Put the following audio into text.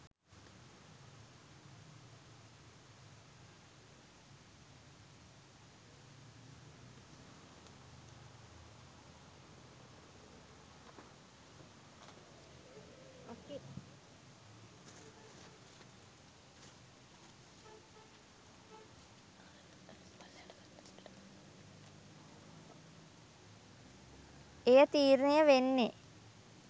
එය තීරණය වෙන්නේ,